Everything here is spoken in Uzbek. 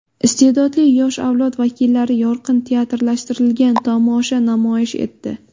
Iste’dodli yosh avlod vakillari yorqin teatrlashtirilgan tomosha namoyish etdi.